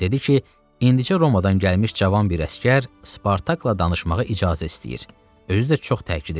Dedi ki, indicə Romadan gəlmiş cavan bir əsgər Spartakla danışmağa icazə istəyir, özü də çox təkid edir.